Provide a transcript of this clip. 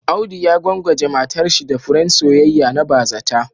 Audu ya gwangwaje matarshi da furen soyayya na bazata